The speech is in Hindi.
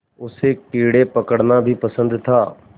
उसे कीड़े पकड़ना भी पसंद था